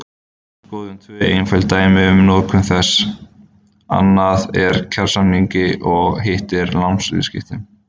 Skoðum tvö einföld dæmi um notkun þessa, annað úr kjarasamningi og hitt úr lánsviðskiptum.